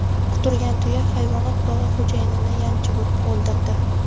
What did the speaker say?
Quturgan tuya hayvonot bog‘i xo‘jayinini yanchib o‘ldirdi.